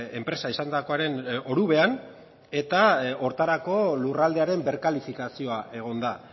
enpresa izandakoaren orubean eta horretarako lurraldearen berkalifikazioa egon da